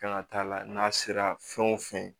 Kan ka k'a la n'a sera fɛn o fɛn ye